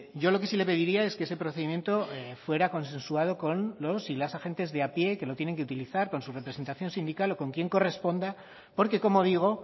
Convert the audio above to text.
yo lo que sí le pediría es que ese procedimiento fuera consensuado con los y las agentes de a pie que lo tienen que utilizar con su representación sindical o con quien corresponda porque como digo